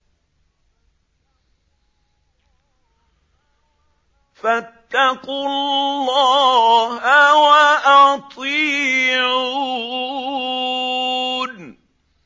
فَاتَّقُوا اللَّهَ وَأَطِيعُونِ